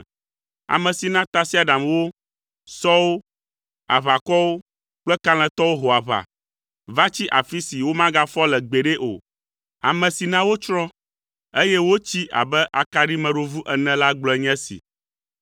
ame si na tasiaɖamwo, sɔwo, aʋakɔwo, kple kalẽtɔwo ho aʋa, va tsi afi si womagafɔ le gbeɖe o. Ame si na wotsrɔ̃, eye wotsi abe akaɖimeɖovu ene la gblɔe nye esi: